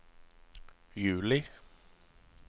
juli